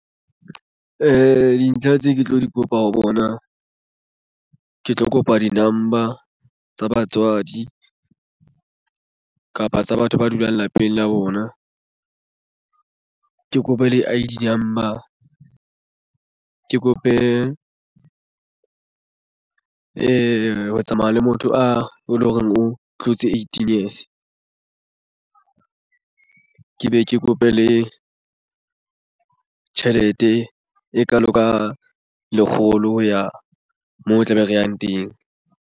Dintlha tse ke tlo di kopa ho bona ke tlo kopa di-number tsa batswadi kapa tsa batho ba dulang lapeng la bona ke kopa le I_D number ke kope ho tsamaya le motho a e leng hore o tlotse eighteen years ke be ke kope le tjhelete e kalo ka lekgolo ho ya moo o tla be re yang teng.